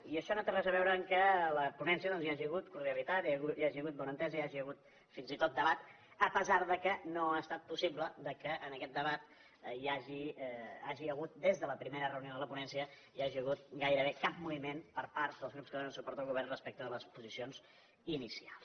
i això no té res a veure amb el fet que a la ponència hi hagi hagut cordialitat hi hagi hagut bona entesa hi hagi hagut fins i tot debat a pesar que no ha estat possible que en aquest debat hi hagi hagut des de la primera reunió de la ponència gairebé cap moviment per part dels grups que donen suport al govern respecte de les posicions inicials